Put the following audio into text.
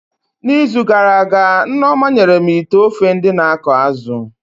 Na izu gara aga, Nneoma nyere m ite ofe ndị na akọ azụ